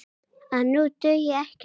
að nú dugi ekkert kák!